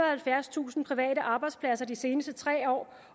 og halvfjerdstusind private arbejdspladser de seneste tre år